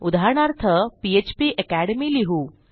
उदाहरणार्थ PHP academy लिहू